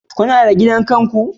Kuna da gida kanku?